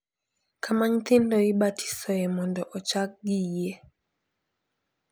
Kama nyithindo ibatisoe mondo ochakgi e yie .